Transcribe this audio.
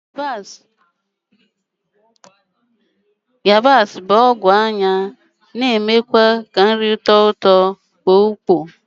Yabasi bụ ọgwụ anya na-emekwụazị ka nrị tọọ ụtọ n'ọnụ ma kpoo ukpo,